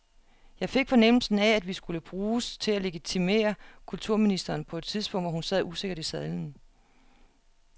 Jeg fik fornemmelsen af, at vi skulle bruges til at legitimere kulturministeren på et tidspunkt, hvor hun sad usikkert i sadlen.